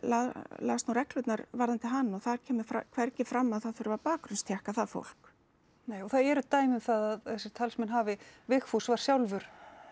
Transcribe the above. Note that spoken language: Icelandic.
las nú reglurnar varðandi hann og þar kemur hvergi fram að það þurfi að það fólk nei og það eru dæmi um það að þessir talsmenn hafi Vigfús var sjálfur